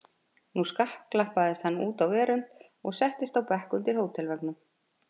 Nú skakklappaðist hann út á verönd og settist á bekk undir hótelveggnum.